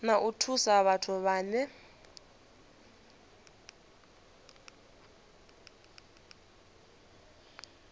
na u thusa vhathu vhane